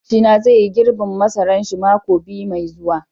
makwapci na zai yi girbin masaran shi mako biyu Mai zuwa.